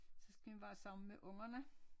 Så skal man være sammen med ungerne